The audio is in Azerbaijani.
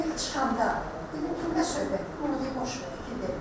Mən içəndə dedim ki, nə söhbət oldu, dedim boş verdim.